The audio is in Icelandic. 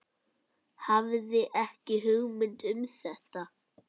Hafði ekki hugmynd um þetta.